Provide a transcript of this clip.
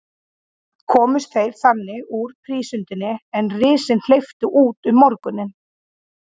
Komust þeir þannig úr prísundinni, er risinn hleypti út um morguninn.